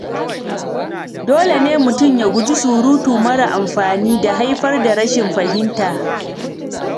Dole ne mutum ya guji surutu mara amfani da haifar da rashin fahimta.